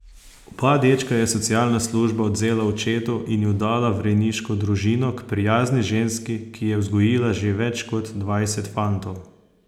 Oba dečka je socialna služba odvzela očetu in ju dala v rejniško družino, k prijazni ženski, ki je vzgojila že več kot dvajset fantov.